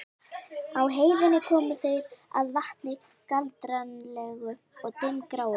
Á háheiðinni komu þeir að vatni, kaldranalegu og dimmgráu.